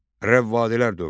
Rəvvadilər dövləti.